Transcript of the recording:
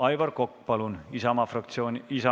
Aivar Kokk Isamaa fraktsiooni nimel.